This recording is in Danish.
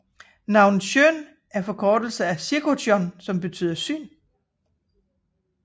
Navnet Sjón er en forkortelse af Sigurjón og betyder syn